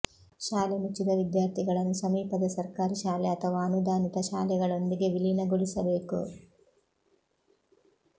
ಶಾಲೆ ಮುಚ್ಚಿದ ವಿದ್ಯಾರ್ಥಿಗಳನ್ನು ಸಮೀಪದ ಸರ್ಕಾರಿ ಶಾಲೆ ಅಥವಾ ಅನುದಾನಿತ ಶಾಲೆಗಳೊಂದಿಗೆ ವಿಲೀನಗೊಳಿಸಬೇಕು